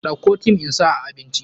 Dauko thyme insa a abinci.